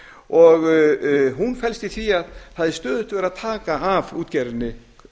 og hún felst í því að það er stöðugt verið að taka af útgerðinni